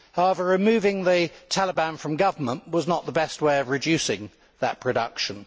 However, removing the Taliban from government was not the best way of reducing that production.